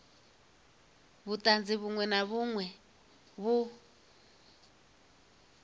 vhuṱanzi vhuṅwe na vhuṅwe vhu